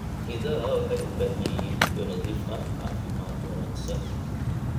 Idaha waxay u baahan yihiin biyo nadiif ah caafimaad wanaagsan.